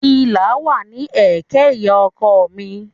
Ìlà wà ní ẹ̀kẹ́ ìyá ọkọ mi